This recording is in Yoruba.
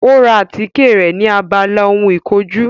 Ó ra àtíkè rẹ̀ ni abala ohun ìkojú